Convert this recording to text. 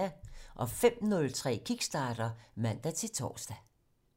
05:03: Kickstarter (man-tor)